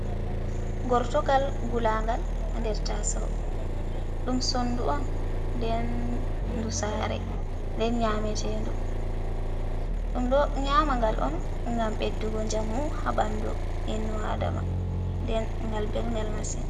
Gortogal gulaangal ha nder taasawo, ɗum sondu on nde ndu saare, nden nyaametendu, ɗum ɗo nyaamangal on ngam ɓeddugo njamu ha ɓandu innno Aadama, nden ngal belngal masin.